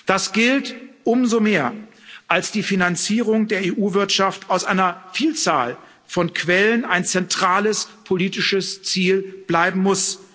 Das gilt umso mehr, als die Finanzierung der EU Wirtschaft aus einer Vielzahl von Quellen ein zentrales politisches Ziel bleiben muss.